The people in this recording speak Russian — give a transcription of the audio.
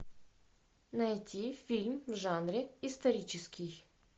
найти фильм в жанре исторический